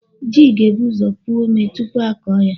Ji ga-ebu ụzọ puo omé tupu a kụọ ya.